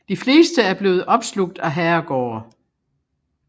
De fleste er blevet opslugt af herregårde